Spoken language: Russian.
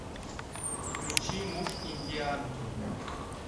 включи муж индианки